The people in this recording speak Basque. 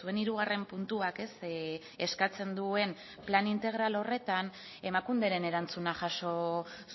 zuen hirugarren puntuak eskatzen duen plan integral horretan emakunderen erantzuna jaso